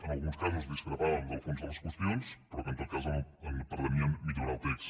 en alguns casos discrepàvem del fons de les qüestions però que en tot cas pretenien millorar el text